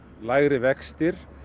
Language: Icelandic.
lægri vextir